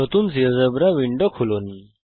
নতুন GeoGebra window খুলুন